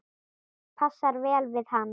Passar vel við hann.